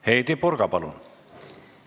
Heidy Purga, palun!